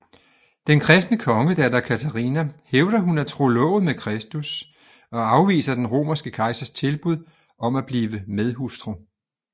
Den kristne kongedatter Katarina hævder hun er trolovet med Kristus og afviser den romerske kejsers tilbud om at blive medhustru